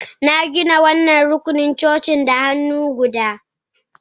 Na gina wannan rukunan coci da hannu guda